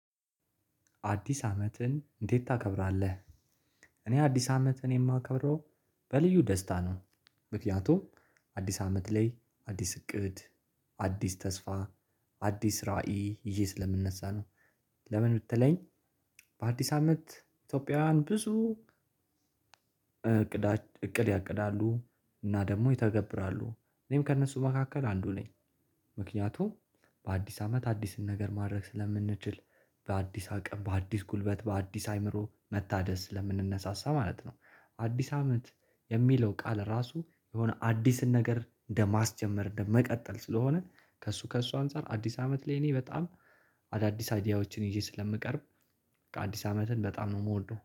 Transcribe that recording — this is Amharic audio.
አዲስ አመትን እንዴት ታከብራለህ? እኔ አዲስ አመትን የማከብረው በልዩ ደስታ ነው ምክንያቱም አዲስ አመት ላይ አዲስ እቅድ አዲስ ተስፋ አዲስ ራዕይ ይዤ ስለምነሳ ነው። ለምን ብትለኝ በአዲስ አመት ኢትዮጵያውያን ብዙ እቅድ እቅድ ያቅዳሉ። እና ደግሞ ይተገብራሉ። እኔም ከእነሱ መካከል አንዱ ነኝ ምክንያቱም በአዲስ አመት አዲስን ነገር ማድረግ ስለምንችል በአዲስ አቅም በአዲስ ጉልበት በአዲስ አእምሮ መታደስ ስለምንነሳሳ ማለት ነው። አዲስ አመት የሚለው ቃል ራሱ የሆነ አዲስን ነገር እንደማስጀመር እንደመቀጠል ስለሆነ ከእሱ ከእሱ አንፃር አዲስ አመት ላይ እኔ በጣም- አዳዲስ አይዲያዎችን ይዤ ስለምቀርብ- አዲስ አመትን በጣም ነው የምወደው።